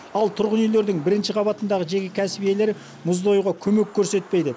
ал тұрғын үйлердің бірінші қабатындағы жеке кәсіп иелері мұзды оюға көмек көрсетпейді